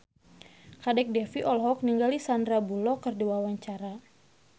Kadek Devi olohok ningali Sandar Bullock keur diwawancara